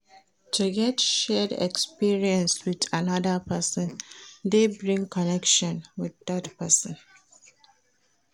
To get shared experience with another persin de bring connection with dat persin